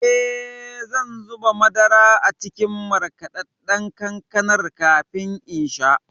Eh, zan zuba madara a cikin markaɗaɗɗan kankanar kafin in sha.